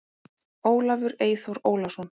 Ólafur Eyþór Ólason.